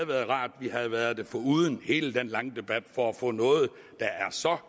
været rart at vi havde været det foruden hele den lange debat for at få noget der er så